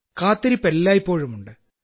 കാത്തിരിപ്പ് എല്ലായ്പ്പോഴും ഉണ്ട്